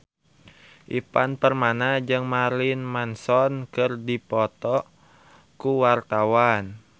Ivan Permana jeung Marilyn Manson keur dipoto ku wartawan